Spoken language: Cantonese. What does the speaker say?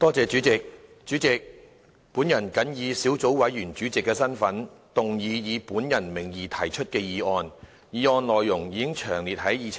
代理主席，本人謹以小組委員會主席的身份，動議以本人名義提出的議案，議案內容已詳列於議程內。